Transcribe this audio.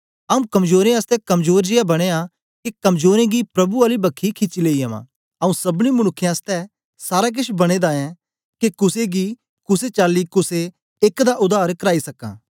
आऊँ कमजोरें आसतै कमजोर जियां बनयां के कमजोरें गी प्रभु आली बक्खी खिची लेई अवां आऊँ सबनी मनुक्खें आसतै सारा केछ बने दा ऐं के कुसे नीं कुसे चाली कुसे एक दा उद्धार कराई सकां